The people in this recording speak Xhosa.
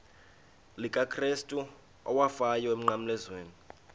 likakrestu owafayo emnqamlezweni